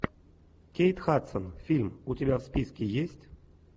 кейт хадсон фильм у тебя в списке есть